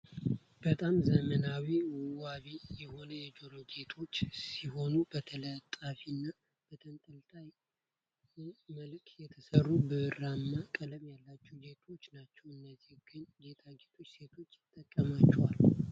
በጣም ዘመናዊና ውቢ የሆኑ የጆሮ ጌጦች ሲሆኑ በተለጣፊ እና በጠንጠልጠይቅ መልክ የተሰሩ ብራማ ቀለም ያላቸው ጌጣጌጦች ናቸው። እነዚህ ግን ጌታጌጦች ሴቶች ይጠቀማቸዋል።